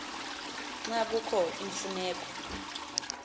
xa kukho imfuneko